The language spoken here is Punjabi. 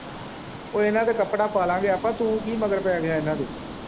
ਉਹਨਾਂ ਤੇ ਕੱਪੜਾ ਪਾ ਲਾਂਗੇ ਤੂੰ ਕੀ ਮਗਰ ਪੈ ਗਿਆ ਆਪਾਂ ਤੂੰ ਕੀ ਮਗਰ ਪੈ ਗਿਆ ਉਹਨਾਂ ਦੇ।